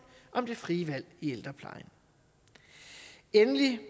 om det frie valg i ældreplejen endelig